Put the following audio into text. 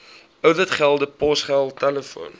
ouditgelde posgeld telefoon